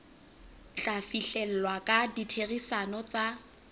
tla fihlellwa ka ditherisano tsa